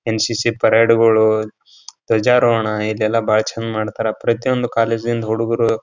NCC. ಪೆರೇಡ್ಗಳು ಧ್ವಜಾರೋಹಣ ಇದೆಲ್ಲ ಬಹಳ ಚೆನ್ನಾಗ್ ಮಾಡ್ತಾರಾ ಪ್ರತಿಯೊಂದು ಕಾಲೇಜಿಂದ್ ಹುಡುಗುರೂ --